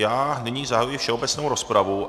Já nyní zahajuji všeobecnou rozpravu.